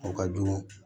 O ka jugu